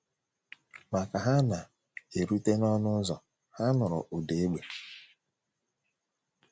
Ma ka ha na - erute n’ọnụ ụzọ, ha nụrụ ụda égbè.